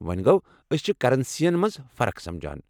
ووٚنۍ گوٚو، أسۍ چھِ کرنسی یَن منٛز فرق سمجان۔